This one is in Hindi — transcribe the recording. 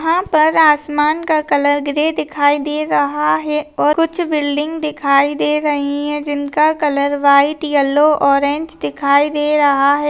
यहाँ पर आसमान का कलर ग्रे दिखाई दे रहा है और कुछ बिल्डिंग दिखाई दे रही है जिनका कलर वाइट येल्लोव ऑरेंज दिखाई दे रहा हैं।